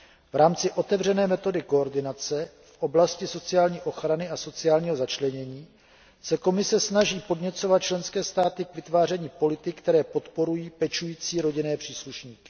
V rámci otevřené metody koordinace v oblasti sociální ochrany a sociálního začlenění se Komise snaží podněcovat členské státy k vytváření politik, které podporují pečující rodinné příslušníky.